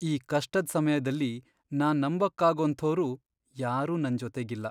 ಈ ಕಷ್ಟದ್ ಸಮಯ್ದಲ್ಲಿ ನಾನ್ ನಂಬಕ್ಕಾಗೋಂಥೋರ್ ಯಾರೂ ನನ್ ಜೊತೆಗಿಲ್ಲ.